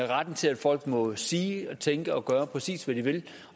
retten til at folk må sige tænke og gøre præcis hvad de vil